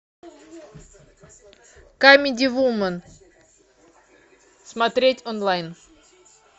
камеди вумен смотреть онлайн